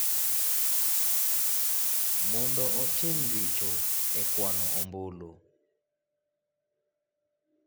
mondo otim richo e kwano ombulu.